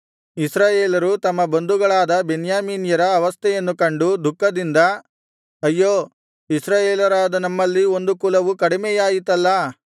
ಇಸ್ರಾಯೇಲರು ತಮ್ಮ ಬಂಧುಗಳಾದ ಬೆನ್ಯಾಮೀನ್ಯರ ಅವಸ್ಥೆಯನ್ನು ಕಂಡು ದುಃಖದಿಂದ ಅಯ್ಯೋ ಇಸ್ರಾಯೇಲರಾದ ನಮ್ಮಲ್ಲಿ ಒಂದು ಕುಲವು ಕಡಿಮೆಯಾಯಿತಲ್ಲಾ